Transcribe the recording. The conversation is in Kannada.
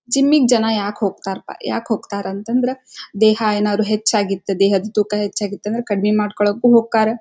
ಜಿಮ್ ಗೆ ಜನ ಯಾಕೆ ಹೋಗ್ತಾರೆ ಪಾ ಯಾಕೆ ಹೋಗ್ತಾರೆ ಅಂತ ಅಂದ್ರೆ ದೇಹ ಏನಾದ್ರ ಹೆಚ್ಚಾಗಿತ್ತು. ದೇಹದ ತೂಕ ಹೆಚ್ಚಾಗಿತ್ತು ಅಂತ ಅಂದ್ರೆ ಕಡಿಮೆ ಮಾಡ್ಕೊಳಕ್ಕೂ ಹೊಕ್ಕರೆ.